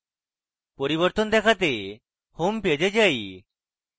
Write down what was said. পরিবর্তন দেখতে homepage এ যাই